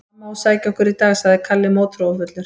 Mamma á að sækja okkur í dag, sagði Kalli mótþróafullur.